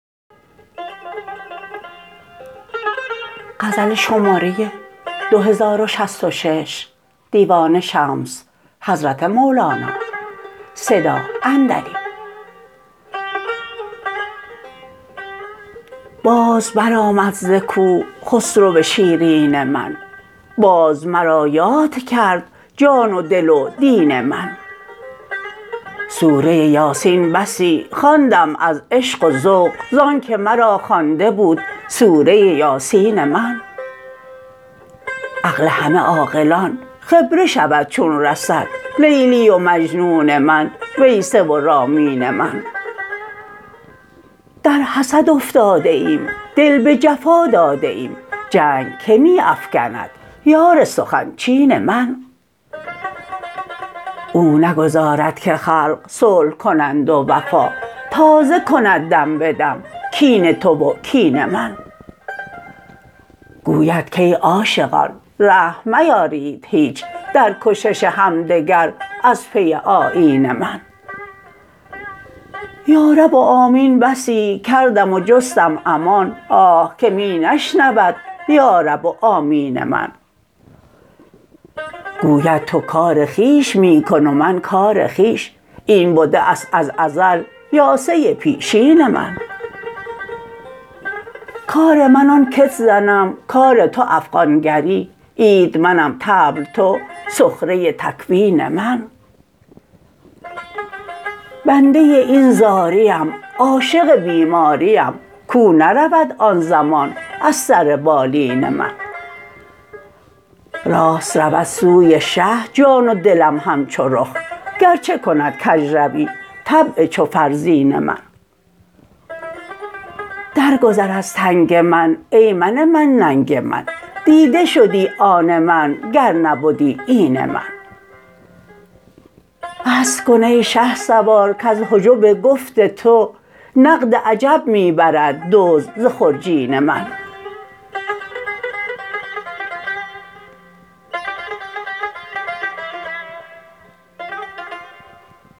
باز برآمد ز کوه خسرو شیرین من باز مرا یاد کرد جان و دل و دین من سوره یاسین بسی خواندم از عشق و ذوق زان که مرا خوانده بود سوره یاسین من عقل همه عاقلان خیره شود چون رسد لیلی و مجنون من ویسه و رامین من در حسد افتاده ایم دل به جفا داده ایم جنگ که می افکند یار سخن چین من او نگذارد که خلق صلح کنند و وفا تازه کند دم به دم کین تو و کین من گوید کای عاشقان رحم میارید هیچ در کشش همدگر از پی آیین من یا رب و آمین بسی کردم و جستم امان آه که می نشنود یارب و آمین من گوید تو کار خویش می کن و من کار خویش این بده ست از ازل یاسه پیشین من کار من آن کت زنم کار تو افغان گری عید منم طبل تو سخره تکوین من بنده این زاریم عاشق بیماریم کاو نرود آن زمان از سر بالین من راست رود سوی شه جان و دلم همچو رخ گرچه کند کژروی طبع چو فرزین من درگذر از تنگ من ای من من ننگ من دیده شدی آن من گر نبدی این من بس کن ای شهسوار کز حجب گفت تو نقد عجب می برد دزد ز خرجین من